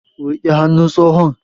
Riƙe hannun tsohon!